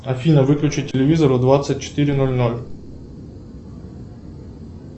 афина выключи телевизор в двадцать четыре ноль ноль